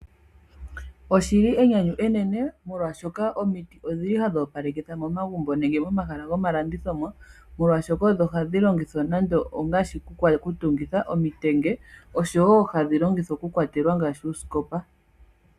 Oshili enyanyu enene, molwashoka omiti odhili hadhi opalekitha momagumbo, nenge momahala gomalandithilo, molwashoka odho hadhi longithwa nande ongaashi okutungitha omitenge, noshowo uusikopa wokukwatela.